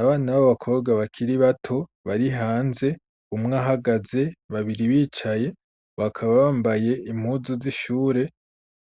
Abana b'abakobwa bakiri bato bari hanze, umwe ahagaze babiri bicaye, bakaba bambaye impuzu z'ishure